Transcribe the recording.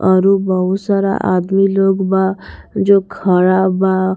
औरु बहुत सारा आदमी लोग बा जो खड़ा बा।